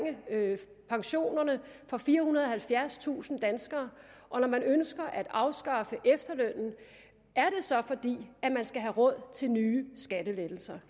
pensionerne for firehundrede og halvfjerdstusind danskere og når man ønsker at afskaffe efterlønnen er det så fordi man skal have råd til nye skattelettelser